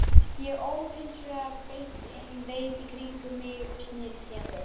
Ég óð hins vegar beint inn, leit í kringum mig og sneri síðan við.